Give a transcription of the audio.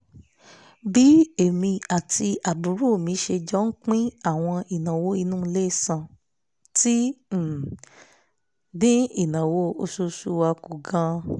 bí èmi àti àbúrò mi ṣe jọ ń pín àwọn ìnáwó inú ilé san ti um dín ìnáwó oṣooṣù wa kù gan-an